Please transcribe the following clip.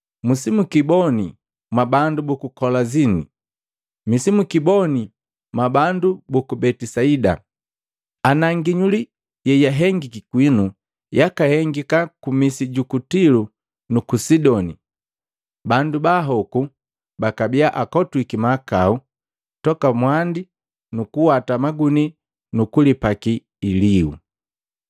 “Misi mukiboni mwabandu buku Kolazini! Misi mukiboni mwa bandu buku Betisaida! Ana nginyuli yehengika kwinu yakahengika ku misi yuku Tilo nuku Sidoni, bandu baahoku bakabiya akotwiki mahakau toka mwandi nu kuwata magunii nukulipaki ilihu.